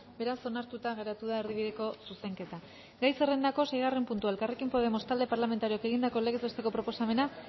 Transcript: beraz onartuta geratu da erdibideko zuzenketa gai zerrendako seigarren puntua elkarrekin podemos talde parlamentarioak egindako legez besteko proposamena